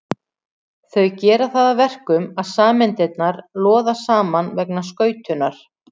Þau gera það að verkum að sameindirnar loða saman vegna skautunar.